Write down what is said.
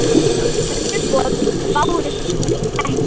Önnur boð bárust ekki.